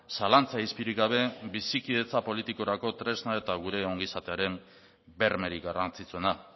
zalantza izpirik gabe bizikidetza politikorako tresna eta gure ongizatearen bermerik garrantzitsuena